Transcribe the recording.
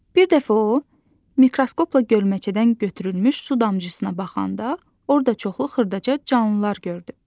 Bir dəfə o mikroskopla gölməçədən götürülmüş su damcısına baxanda, orda çoxlu xırdaca canlılar gördü.